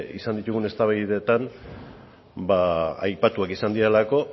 izan ditugun eztabaidetan aipatuak izan direlako